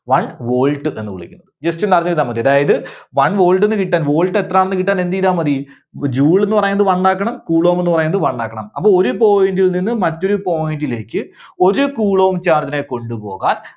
one volt എന്ന് വിളിക്കുന്നത്. jus ഒന്നറിഞ്ഞിരുന്നാൽ മതി. അതായത് one volt ന്ന് കിട്ടാൻ, volt എത്രാന്നു കിട്ടാൻ എന്ത് ചെയ്‌താൽ മതി joule എന്ന് പറയുന്നത് one ആക്കണം coulomb എന്ന് പറയുന്നത് one ആക്കണം. അപ്പോ ഒരു point ൽ നിന്ന് മറ്റൊരു point ലേക്ക് ഒരു coulomb charge നെ കൊണ്ടുപോകാൻ